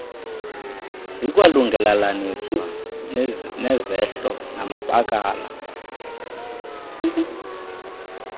zikwalungelelaniswa nezehlo namabakala